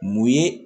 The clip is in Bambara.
Mun ye